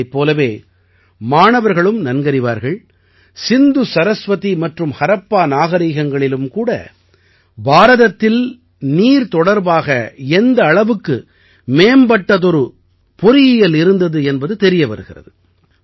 இதைப் போலவே மாணவர்களும் நன்கறிவார்கள் சிந்து சரஸ்வதி மற்றும் ஹரப்பா நாகரிகங்களிலும் கூட பாரதத்தில் நீர் தொடர்பாக எந்த அளவுக்கு மேம்பட்டதொரு பொறியியல் இருந்தது என்பது தெரிய வருகிறது